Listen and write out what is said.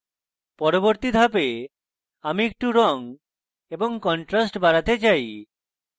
পরবর্তী ধাপে আমি একটু রঙ এবং contrast বাড়াতে চাই